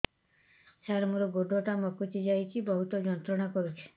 ସାର ମୋର ଗୋଡ ଟା ମଛକି ଯାଇଛି ବହୁତ ଯନ୍ତ୍ରଣା କରୁଛି